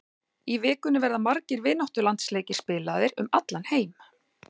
Í vikunni verða margir vináttulandsleikir spilaðir um allan heim.